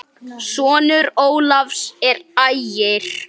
Sonur Ólafs er Ægir.